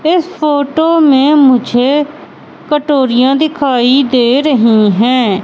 इस फोटो में मुझे कटोरियाँ दिखाई दे रही है।